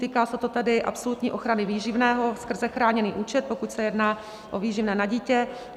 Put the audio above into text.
Týká se to tedy absolutní ochrany výživného skrze chráněný účet, pokud se jedná o výživné na dítě.